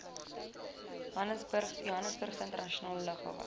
johannesburgse internasionale lughawe